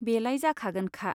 बेलाय जाखागोनखा।